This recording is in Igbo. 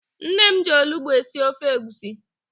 Nne m ji olugbo esi ofe egwusi.